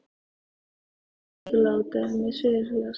Svona mun ég ekki láta um mig spyrjast.